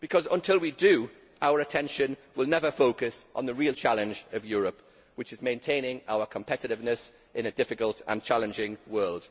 Until we do, our attention will never be focused on the real challenge of Europe, which is to maintain our competitiveness in a difficult and challenging world.